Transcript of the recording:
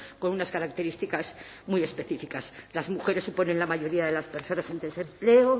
con unas características muy específicas las mujeres suponen la mayoría de las personas en desempleo